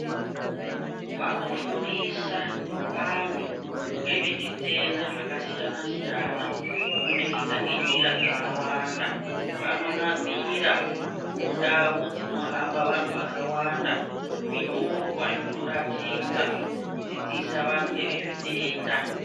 Vanofundisa vantu ngezvechitenda zvakasiyana siyana. Kubudikidza ngenjira dzakawanda, vanonamira mundau dzino hamba vantu vakawanda, zvinyorwa zvinoratidza kudzidzisa vantu ngezvezvitenda.